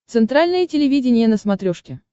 центральное телевидение на смотрешке